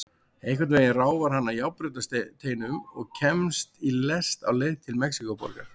Einhvern veginn ráfar hann að járnbrautarteinum og kemst í lest á leið til Mexíkóborgar.